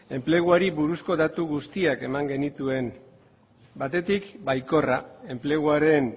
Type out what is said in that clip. enpleguari buruzko datu guztiak eman genituen batetik baikorra enpleguaren